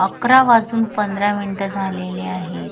अकरा वाजून पंधरा मिनीट झालेले आहेत.